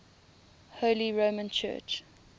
holy roman church